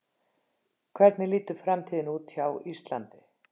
Hvernig lítur framtíðin út hjá Íslandi?